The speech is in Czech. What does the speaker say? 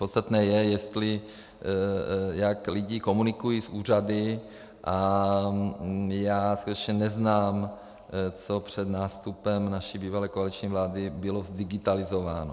Podstatné je, jestli, jak lidé komunikují, s úřady a já skutečně neznám, co před nástupem naší bývalé koaliční vlády bylo zdigitalizováno.